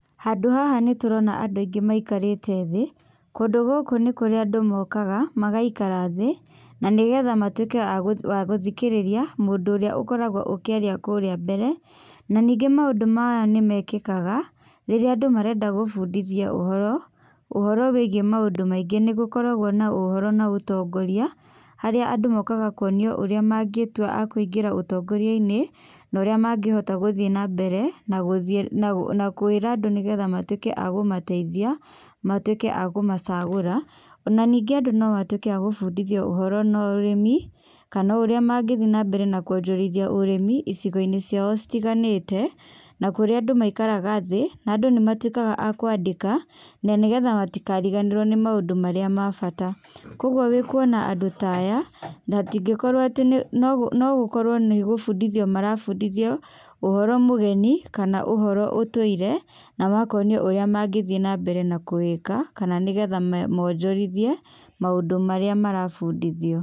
Handũ haha nĩtũrona andũ aingĩ maikarĩte thĩĩ. Kũndũ gũkũ nĩ kũrĩa andũ mokaga magaikara thĩĩ, na nĩgetha matuĩke agũthikĩrĩria mũndũ ũrĩa ũkoragwo ũkĩaria kũrĩa mbere. Na ningĩ maũndũ maya nĩmekĩkaga, rĩrĩa andũ marenda gũbundithio ũhoro, ũhoro, wĩgie maũndũ maingi. Nĩgũkoragwo na ũhoro na ũtongoria, harĩa andũ mokaga kuonio ũrĩa mangĩtua akũingĩra ũtongoria-inĩ noria mangĩhota gũthiĩ nambere, na gũthiĩ na kwĩra andũ nĩgetha matuĩke agũmateithia matuĩke a kũmacagũra. Ona ningĩ andũ nomatwĩke a gũbundithio ũhoro na ũrĩmi, kana ũrĩa mangĩthiĩ na mbere na kwonjorithia ũrĩmi icigo-inĩ ciao citiganĩte. Na kũrĩa andũ maikaraga thĩĩ, na andũ nĩmatuĩkaga a kwandĩka, na nĩgetha matikariganĩrwo nĩ maũndũ marĩa ma bata. Koguo wĩkuona andũ ta aya, nahatĩngĩkorwo atĩ nĩ, nogũkorwo nĩ gũbundithio marabundithio ũhoro mũgeni, kana ũhoro ũtũire na makonio ũrĩa mangĩthie na mbere na kũwĩka kana nĩgetha monjorithie maũndũ marĩa marabundithio.